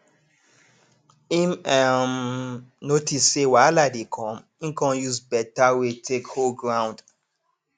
im um notice say wahala dey come im con use beta way take hold ground